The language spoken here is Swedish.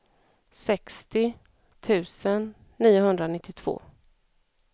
sextio tusen niohundranittiotvå